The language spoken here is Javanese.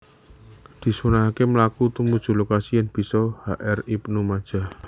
Disunnahaké mlaku tumuju lokasi yèn bisa H R ibnu majah